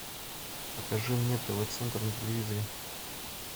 покажи мне тв центр на телевизоре